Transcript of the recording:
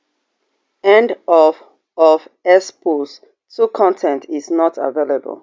end of of x post two con ten t is not available